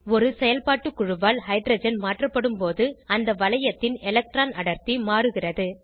ஒரு செயல்பாட்டு குழுவால் ஹைட்ரஜன் மாற்றப்படும்போது அந்த வளையத்தின் எலக்ட்ரான் அடர்த்தி மாறுகிறது